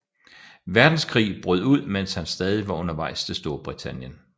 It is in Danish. Verdenskrig brød ud mens han stadig var undervejs til Storbritannien